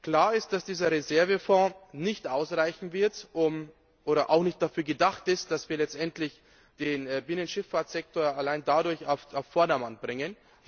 Klar ist, dass der Reservefonds nicht ausreichen wird und auch nicht dafür gedacht ist, dass wir letztendlich den Binnenschifffahrtssektor allein dadurch auf Vordermann bringen.